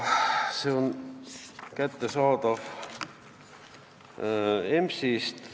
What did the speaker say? Need on kättesaadavad EMS-ist.